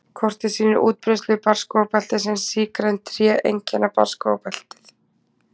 Kortið sýnir útbreiðslu barrskógabeltisins Sígræn tré einkenna barrskógabeltið.